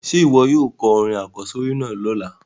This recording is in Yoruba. Sé wo yóò ko orin àkósórí náà lọ́la?